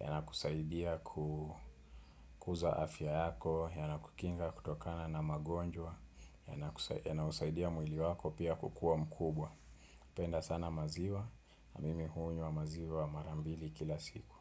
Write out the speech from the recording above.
yanakusaidia kukuza afya yako, yanakukinga kutokana na magonjwa, yanakusaidia mwili wako pia kukuwa mkubwa. Penda sana maziwa, mimi hunywa maziwa mara mbili kila siku.